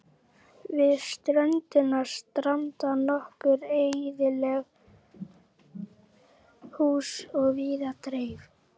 Við ströndina standa nokkur eyðileg hús á víð og dreif.